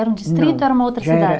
Era um distrito ou era uma outra cidade?